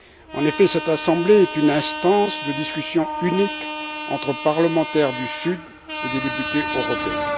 En effet, cette assemblée est une instance de discussion unique entre les parlementaires du Sud et les députés européens.